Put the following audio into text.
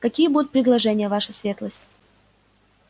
какие будут предложения ваша светлость